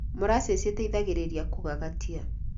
Molassesi ĩteithagĩrĩria kũgagatia